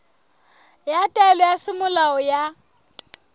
ya taelo ya semolao ya